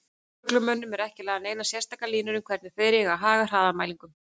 Lögreglumönnum eru ekki lagðar neinar sérstakar línur um hvernig þeir eigi að haga hraðamælingum.